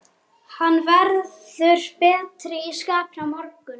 Hann verður betri í skapinu á morgun, sanniði til.